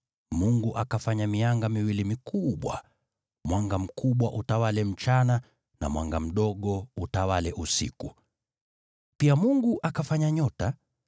Mungu akafanya mianga miwili mikubwa: mwanga mkubwa utawale mchana, na mwanga mdogo utawale usiku. Pia Mungu akafanya nyota.